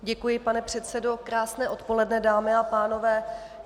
Děkuji, pane předsedo, krásné odpoledne, dámy a pánové.